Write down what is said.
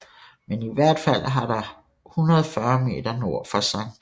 Men i hvert fald har der 140 meter nord for Skt